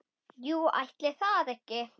Jú, ætli það ekki!